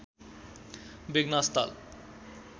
वेगनासताल